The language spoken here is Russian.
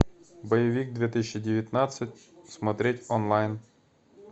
боевик две тысячи девятнадцать смотреть онлайн